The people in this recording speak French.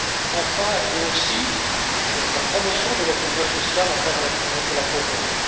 Et enfin aussi, la promotion de l'inclusion sociale à travers la lutte contre la pauvreté.